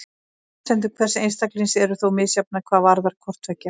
Forsendur hvers einstaklings eru þó misjafnar hvað varðar hvort tveggja.